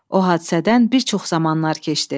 O hadisədən bir çox zamanlar keçdi.